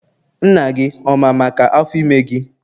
Nna gị ọ ma maka Afọ ime gị?